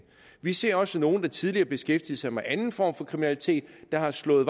vi ser også at nogle der tidligere beskæftigede sig med anden form for kriminalitet har slået